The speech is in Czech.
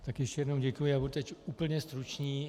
Tak ještě jednou děkuji a budu teď úplně stručný.